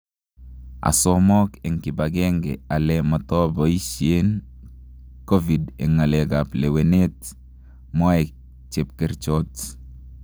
asamok en kipagenge ale matopaisien Covid en ngalek ap lewenet� mwae chepkerchot.